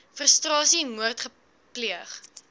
frustrasie moord pleeg